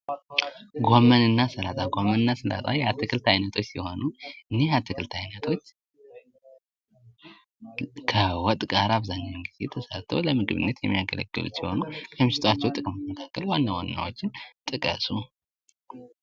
ጎመን እና ሰላጣ ጎመን እና ሰላጣ የአትክልት አይነቶች ሲሆኑ እኒህ የአትክልት አይነቶች ከዎጥ ጋር አብዛኛውን ጊዜ ተሰርተው ለምግብነት የሚያገለግሉ ሲሆኑ ከሚሰጧቸው ጥቅሞች መካከል ዋና ዋናዎቹን ጥቀሱ።